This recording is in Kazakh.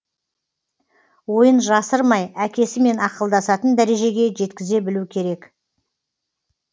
ойын жасырмай әкесімен ақылдасатын дәрежеге жеткізе білу керек